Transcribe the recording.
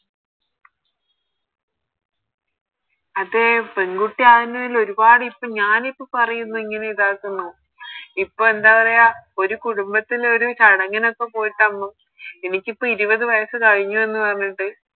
അതെ പെൺകുട്ടി ആവുന്നേല് ഒരുപാട് ഇപ്പൊ ഞാനിപ്പോ പറയുന്നേ ഇങ്ങനെ ഇതാക്കുന്നു ഇപ്പൊ എന്താ പറയാ ഒരു കുടുംബത്തിലൊരു ചടങ്ങിനൊക്കെ പോയിട്ടാവുമ്പോ എനിക്കിപ്പോ ഇരുപത് വയസ്സ് കഴിഞ്ഞു എന്ന് പറഞ്ഞിട്ട്